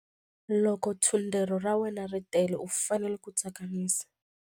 Loko thundelo ra wena ri tele u fanele ku tsakamisa.